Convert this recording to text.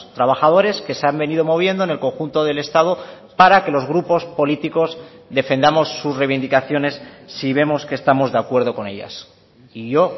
trabajadores que se han venido moviendo en el conjunto del estado para que los grupos políticos defendamos sus reivindicaciones si vemos que estamos de acuerdo con ellas y yo